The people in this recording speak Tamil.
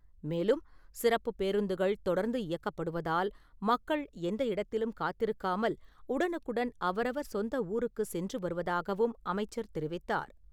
மேலும், சிறப்புப் பேருந்துகள் தொடர்ந்து இயக்கப்படுவதால் மக்கள் எந்த இடத்திலும் காத்திருக்காமல் உடனுக்குடன் அவரவர் சொந்த ஊருக்கு சென்று வருவதாகவும் அமைச்சர் தெரிவித்தார்.